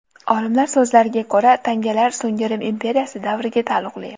Olimlarning so‘zlariga ko‘ra, tangalar so‘nggi Rim imperiyasi davriga taalluqli.